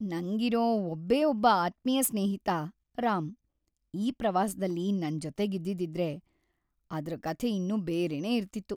ನಂಗಿರೋ ಒಬ್ಬೇ ಒಬ್ಬ ಆತ್ಮೀಯ ಸ್ನೇಹಿತ ರಾಮ್ ಈ ಪ್ರವಾಸ್ದಲ್ಲಿ ನನ್ ಜೊತೆಗಿದ್ದಿದ್ರೆ ಅದ್ರ್‌ ಕಥೆ ಇನ್ನೂ ಬೇರೆನೇ ಇರ್ತಿತ್ತು.